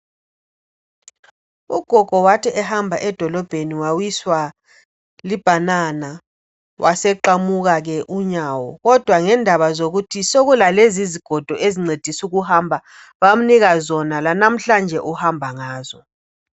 Ugogo wathi ehamba edolobheni wawiswa libhanana waseqamuka ke unyawo, kodwa ngendaba zokuthi sekulalezi izigodo ezincedisa ukuhamba bamnika zona lanamhlanje uhamba ngazo.